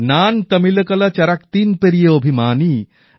নান তমিলকলা চারাক্তিন পেরিয়ে অভিমানী